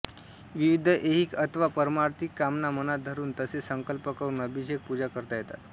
विविध ऐहिक अथवा पारमार्थिक कामना मनात धरून तसे संकल्प करून अभिषेक पूजा करता येतात